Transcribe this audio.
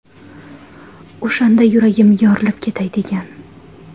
O‘shanda yuragim yorilib ketay degan.